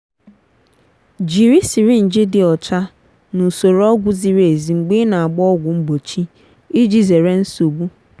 jiri sirinji dị ọcha na usoro ọgwụ ziri ezi mgbe ị na-agba ọgwụ mgbochi iji zere nsogbu.